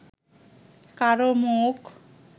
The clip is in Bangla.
কারও মুখ